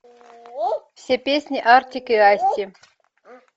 все песни артик и асти